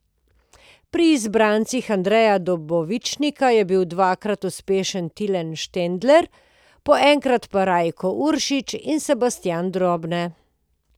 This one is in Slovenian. Pri izbrancih Andreja Dobovičnika je bil dvakrat uspešen Tilen Štendler, po enkrat pa Rajko Uršič in Sebastijan Drobne.